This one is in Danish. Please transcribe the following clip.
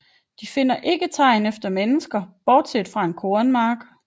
De finder ikke tegn efter mennesker bortset fra en kornmark